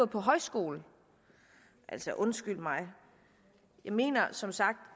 på højskole altså undskyld mig jeg mener som sagt